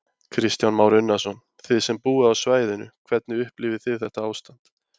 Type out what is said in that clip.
Kristján Már Unnarsson: Þið sem búið á svæðinu, hvernig upplifið þið þetta ástand?